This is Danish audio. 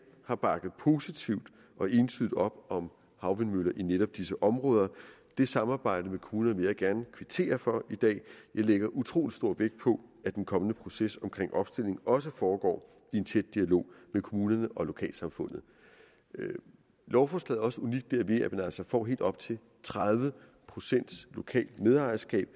har bakket positivt og entydigt op om havvindmøller i netop disse områder det samarbejde med kommunerne vil jeg gerne kvittere for i dag jeg lægger utrolig stor vægt på at den kommende proces omkring opstilling også foregår i en tæt dialog med kommunerne og lokalsamfundet lovforslaget er også unikt derved at man altså får helt op til tredive procent lokalt medejerskab